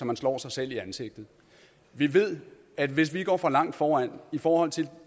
man slår sig selv i ansigtet vi ved at hvis vi går for langt foran i forhold til